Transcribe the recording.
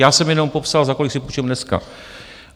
Já jsem jenom popsal, za kolik si půjčím dneska.